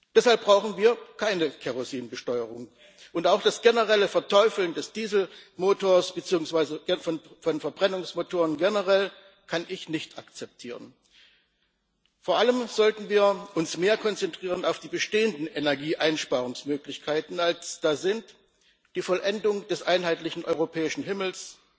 Deshalb brauchen wir keine Kerosinbesteuerung und auch das generelle Verteufeln des Dieselmotors beziehungsweise von Verbrennungsmotorenganz allgemein kann ich nicht akzeptieren. Vor allem sollten wir uns mehr auf die bestehenden Energieeinsparungsmöglichkeiten konzentrieren, als da sind die Vollendung des einheitlichen europäischen Himmels,